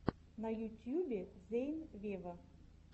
на ютьюбе зейн вево